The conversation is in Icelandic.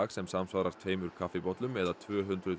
sem samsvarar tveimur kaffibollum eða tvö hundruð